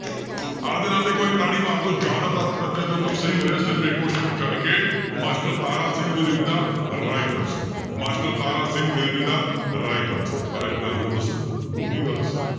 ਆਪਦੇ ਨਾਂ ਤੇ ਇੱਕ ਵਾਰੀ ਤਾੜੀ ਮਾਰ ਦਓ ਜ਼ਿਆਦਾਤਰ ਅੱਜ ਬੱਚਿਆਂ ਦੇ ਉੱਤਰ ਸਹੀ ਹੋ ਰਹੇ ਆ ਸਿਰਫ਼ ਇੱਕ question ਨੂੰ ਛੱਡ ਕੇ master Tara Singh will be the right answer master Tara Singh will be the right answer ਪਰ ਇੱਕ ਗੱਲ ਹੋਰ ਦੱਸਾਂਂ ਡੂੰਘੀ ਗੱਲ ਦੱਸਾਂ,